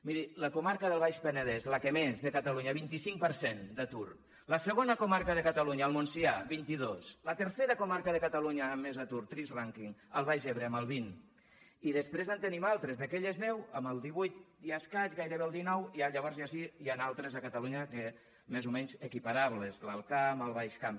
mir la comarca del baix penedès la que més de catalunya vint cinc per cent d’atur la segona comarca de catalunya el montsià vint dos la tercera comarca de catalunya amb més atur trist rànquing el baix ebre amb el vint i després en tenim altres d’aquelles deu amb el divuit i escaig gairebé el dinou i llavors ja sí n’hi ha altres a catalunya més o menys equiparables l’alt camp el baix camp